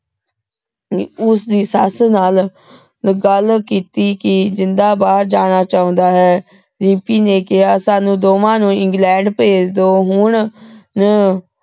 ਉਸਦੀ ਸੱਸ ਨਾਲ ਗੱਲ ਕੀਤੀ ਕਿ ਜਿੰਦਾ ਬਾਹਰ ਜਾਣਾ ਚਾਹੁੰਦਾ ਹੈ ਰਿੰਪੀ ਨੇ ਕਿਹਾ ਸਾਨੂੰ ਦੋਵਾਂ ਨੂੰ ਇੰਗਲੈਂਡ ਭੇਜ ਦੋ ਹੁਣ ਹਮ